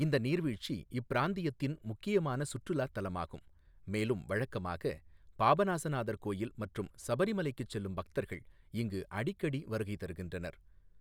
இந்த நீர்வீழ்ச்சி இப்பிராந்தியத்தின் முக்கியமான சுற்றுலாத் தலமாகும், மேலும் வழக்கமாக பாபநாசநாதர் கோயில் மற்றும் சபரிமலைக்குச் செல்லும் பக்தர்கள் இங்கு அடிக்கடி வருகை தருகின்றனர்.